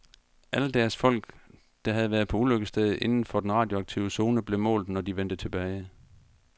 Alle deres folk, der havde været på ulykkesstedet inden for den radioaktive zone, blev målt, når de vendte tilbage.